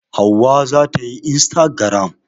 Hauwa za ta yi instagaram.